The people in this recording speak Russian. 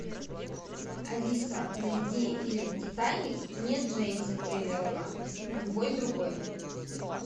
алиса найди фильм титаник не джеймса кемерона любой другой